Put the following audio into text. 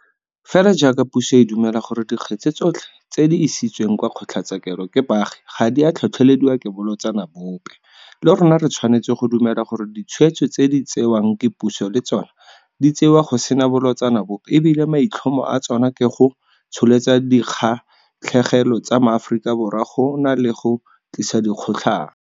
Fela jaaka puso e dumela gore dikgetse tsotlhe tse di isitsweng kwa kgotlatshekelo ke baagi ga di a tlhotlhelediwa ke bolotsana bope, le rona re tshwanetse go dumela gore ditshwetso tse di tsewang ke puso le tsona di tsewa go sena bolotsana bope e bile maitlhomo a tsona ke go tsholetsa dikgatlhegelo tsa maAforika Borwa go na le go tlisa dikgotlang.